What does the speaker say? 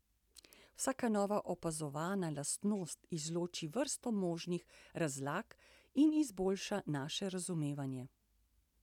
Vsaka nova opazovana lastnost izloči vrsto možnih razlag in izboljša naše razumevanje.